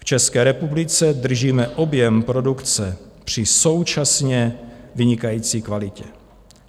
V České republice držíme objem produkce při současně vynikající kvalitě.